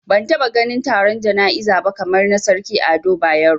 Bana taba ganin taron jana'iza ba kamar na Sarki Ado Bayero